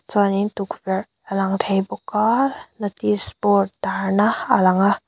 chuanin tukverh alang theih bawk a notice board tar na a lang a.